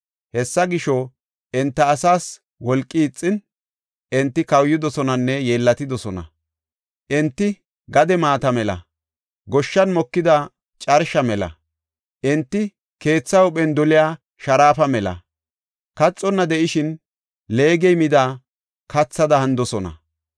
Hessa gisho, enta asaas wolqi ixin, enti kawuyidosonanne yeellatidosona. Enti gade maata mela; goshshan mokida carsha mela. Enti keetha huuphen doliya sharaafa mela kaxonna de7ishin, leegey mida kathada hanidosona.